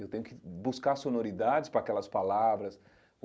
Eu tenho que buscar sonoridades para aquelas palavras.